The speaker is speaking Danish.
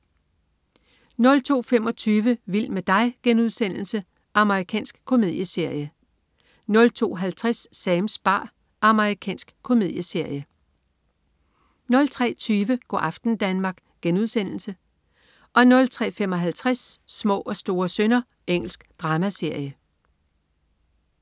02.25 Vild med dig.* Amerikansk komedieserie 02.50 Sams bar. Amerikansk komedieserie 03.20 Go' aften Danmark* 03.55 Små og store synder. Engelsk dramaserie